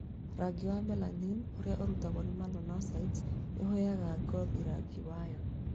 Rangi wa melanin ũrĩa ũrutagwo nĩ malanocytes nĩ ũheaga ngothi rangi wayo